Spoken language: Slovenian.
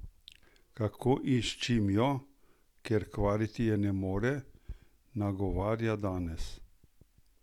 Kako in s čim jo, ker kvariti je ne more, nagovarja danes?